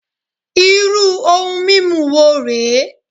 Irú ohun mímu wo rè é?